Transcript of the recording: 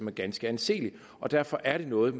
er ganske anseligt og derfor er det noget